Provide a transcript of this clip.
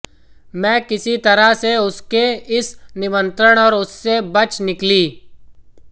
मैं किसी तरह से उसके इस निमंत्रण और उससे बच निकली